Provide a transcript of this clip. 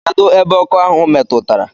Kedụ ebe ọkọ ahụ metụtara.